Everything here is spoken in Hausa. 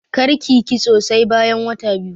Karki yi kitso sai bayan wata biyu.